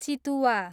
चितुवा